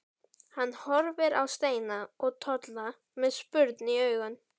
Hann horfir á Steina og Tolla með spurn í augum.